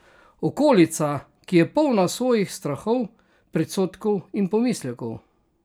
Okolica, ki je polna svojih strahov, predsodkov in pomislekov?